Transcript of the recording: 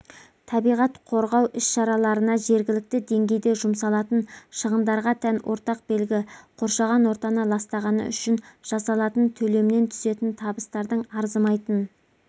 табиғат қорғау іс-шараларына жергілікті деңгейде жұмсалатын шығындарға тән ортақ белгі қоршаған ортаны ластағаны үшін жасалатын төлемнен түсетін табыстардың арзымайтын